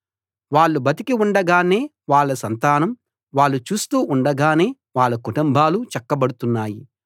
వాళ్ళు బతికి ఉండగానే వాళ్ళ సంతానం వాళ్ళు చూస్తూ ఉండగానే వాళ్ళ కుటుంబాలు చక్కబడుతున్నాయి